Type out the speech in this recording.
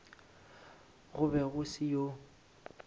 go be go se yoo